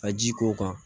Ka ji k'o kan